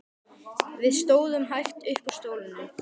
Við stóðum hægt upp úr stólunum.